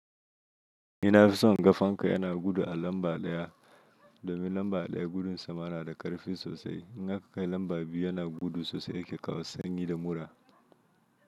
Ina fison gafanka yana gudu a lamba ɗaya, domin lamba ɗaya gudun sa ma na da ƙarfi sosai. In aka kai lamba biyu yana gudu sosai yake kawo sanyi da murra.